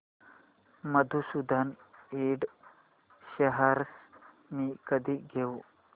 मधुसूदन इंड शेअर्स मी कधी घेऊ